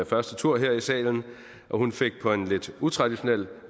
første tur her i salen hun fik på lidt utraditionel